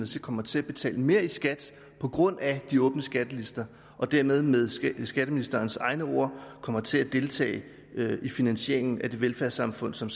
så kommer til at betale mere i skat på grund af de åbne skattelister og dermed med skatteministerens egne ord kommer til at deltage i finansieringen af det velfærdssamfund som